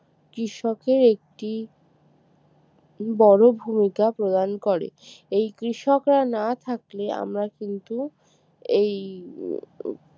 কৃষকের একটি বড় ভূমিকা প্রদান করে এই কৃষকরা না থাকলে আমরা কিন্তু এই